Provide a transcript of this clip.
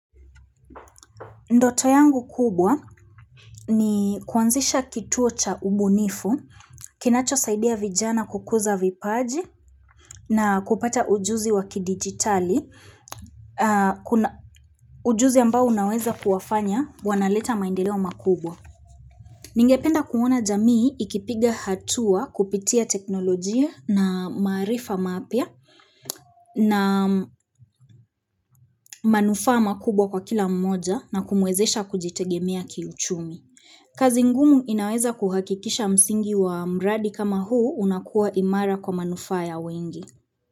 Ndoto yangu kubwa ni kuanzisha kituo cha ubunifu, kinacho saidia vijana kukuza vipaji na kupata ujuzi waki digitali, ujuzi ambao unaweza kuwafanya wanaleta maendeleo makubwa. Ningependa kuona jamii ikipiga hatua kupitia teknolojia na maarifa mapya na manufaa makubwa kwa kila mmoja na kumuwezesha kujitegemea kiuchumi. Kazi ngumu inaweza kuhakikisha msingi wa mradi kama huu unakuwa imara kwa manufaa ya wengi.